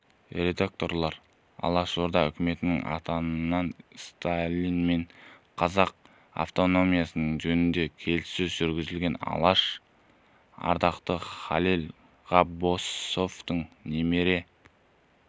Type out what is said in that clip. редакторы алашорда үкіметінің атынан сталинмен қазақ автономиясы жөнінде келіссөз жүргізген алаш ардақтысы халел ғаббасовтың немере